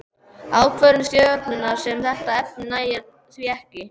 Ákvörðun stjórnar um þetta efni nægir því ekki.